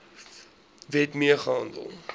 wet mee gehandel